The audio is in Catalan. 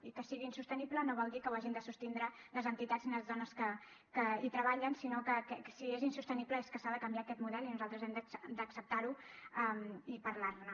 i que sigui insostenible no vol dir que ho hagin de sostindre les entitats i les dones que hi treballen sinó que si és insostenible és que s’ha de canviar aquest model i nosaltres hem d’acceptar ho i parlar ne